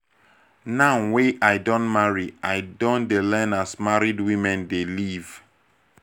now wey i don marry i don dey learn as married women dey live.